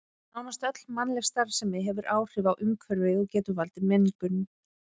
Nánast öll mannleg starfsemi hefur áhrif á umhverfið og getur valdið mengun.